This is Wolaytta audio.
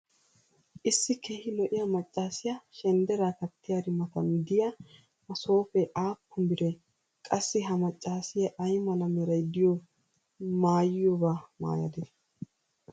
issi keehi lo'iyaa macaassiya shendderaa kattiyaari matan diya masooppee aappun biree? qassi ha macaassiya ay mala meray diyo maayiyobaa maayadee?